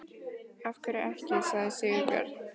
Af hverju ekki? sagði Sigurbjörn.